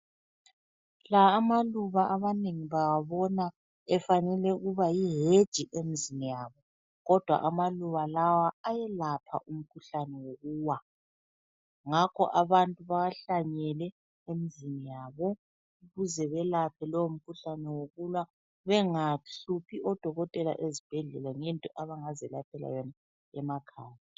La amaluba abanengi bawabona efanele ukuba yiheji emzini yabo kodwa amaluba lawa ayelapha wokuwa, ngakho abantu bawahlanyele emzini yabo ukuze belaphe lowomkhuhlane yokuwa bengahluphi odokotela ezibhedlela ngento abangazelaphela yona emakhaya.